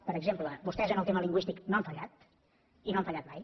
per exemple vostès en el tema lingüístic no han fallat i no han fallat mai